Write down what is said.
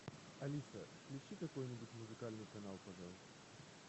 алиса включи какой нибудь музыкальный канал пожалуйста